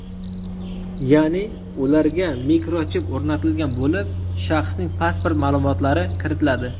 Ya’ni, ularga mikrochip o‘rnatilgan bo‘lib, shaxsning pasport ma’lumotlari kiritiladi.